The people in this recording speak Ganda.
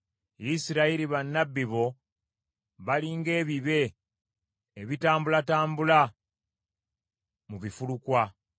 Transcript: Isirayiri, bannabbi bo bali ng’ebibe ebitambulatambula mu bifulukwa.